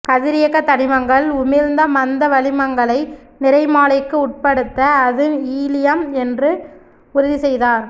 கதிரியக்கத் தனிமங்கள் உமிழ்ந்த மந்த வளிமங்களை நிறமாலைக்கு உட்படுத்த அது ஈலியம் என்று உறுதி செய்தார்